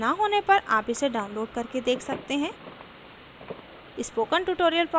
अच्छी bandwidth न होने पर आप इसे download करके देख सकते हैं